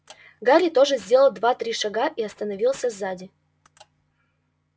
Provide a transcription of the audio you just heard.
гарри тоже сделал два-три шага и остановился сзади